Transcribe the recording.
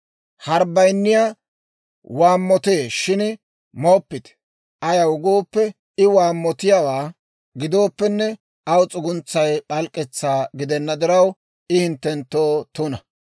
Harbbayinni waammotee shin mooppite; ayaw gooppe, I waammotiyaawaa gidooppenne, aw s'uguntsay p'alk'k'etsaa gidena diraw, I hinttenttoo tuna.